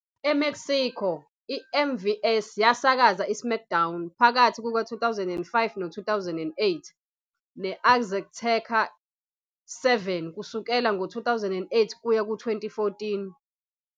EMexico, i- MVS yasakaza "iSmackDown" phakathi kuka-2005 no-2008, ne-Azteca 7 kusukela ngo-2008 kuya ku-2014.